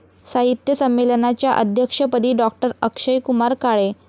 साहित्य संमेलनाच्या अध्यक्षपदी डॉ.अक्षयकुमार काळे